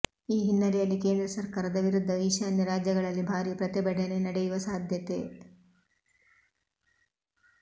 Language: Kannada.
ಈ ಹಿನ್ನೆಲೆಯಲ್ಲಿ ಕೇಂದ್ರ ಸರ್ಕಾರದ ವಿರುದ್ಧ ಈಶಾನ್ಯ ರಾಜ್ಯಗಳಲ್ಲಿ ಭಾರೀ ಪ್ರತಿಭಟನೆ ನಡೆಯುವ ಸಾಧ್ಯತೆ